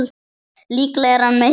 Líklega er hann með hita.